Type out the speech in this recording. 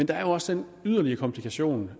der er så den yderligere komplikation